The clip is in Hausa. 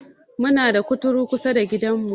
Muna da kuturu kusada gidan mu